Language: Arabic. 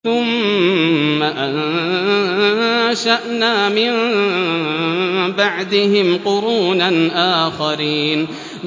ثُمَّ أَنشَأْنَا مِن بَعْدِهِمْ قُرُونًا آخَرِينَ